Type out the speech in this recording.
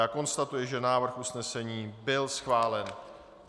Já konstatuji, že návrh usnesení byl schválen.